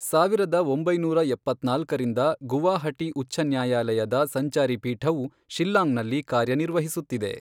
ಸಾವಿರದ ಒಂಬೈನೂರ ಎಪ್ಪತ್ನಾಲ್ಕರಿಂದ ಗುವಾಹಟಿ ಉಚ್ಚ ನ್ಯಾಯಾಲಯದ ಸಂಚಾರಿ ಪೀಠವು ಶಿಲ್ಲಾಂಗ್ನಲ್ಲಿ ಕಾರ್ಯನಿರ್ವಹಿಸುತ್ತಿದೆ.